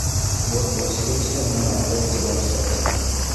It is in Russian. сборка усилителя на эс девяносто эф